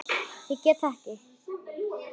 Ég get þetta ekki.